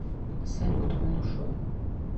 салют он ушел